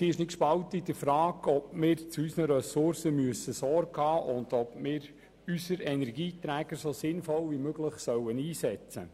Doch in der Frage, ob wir zu unseren Ressourcen Sorge tragen müssen und ob wir unsere Energieträger so sinnvoll wie möglich einsetzen sollen, ist sie nicht gespalten.